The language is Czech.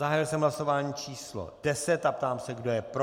Zahájil jsem hlasování číslo 10 a ptám se, kdo je pro.